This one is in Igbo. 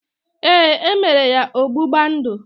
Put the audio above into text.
Ee, emere ya ọgbụgba ndụ